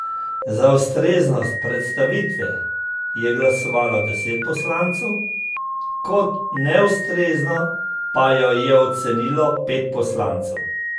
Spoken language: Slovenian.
Za ustreznost predstavitve je glasovalo deset poslancev, kot neustrezno pa jo je ocenilo pet poslancev.